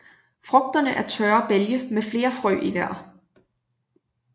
Frugterne er tørre bælge med flere frø i hver